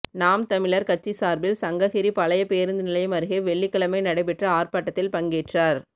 நாம் தமிழா் கட்சி சாா்பில் சங்ககிரி பழைய பேருந்து நிலையம் அருகே வெள்ளிக்கிழமை நடைபெற்ற ஆா்ப்பாட்டத்தில் பங்கேற்றோா்